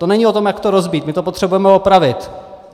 To není o tom, jak to rozbít, my to potřebujeme opravit.